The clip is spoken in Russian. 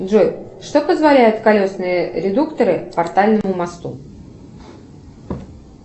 джой что позволяют колесные редукторы портальному мосту